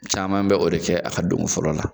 Caman bɛ o de kɛ a ka don ko fɔlɔ la